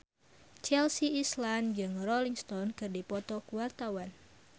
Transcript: Chelsea Islan jeung Rolling Stone keur dipoto ku wartawan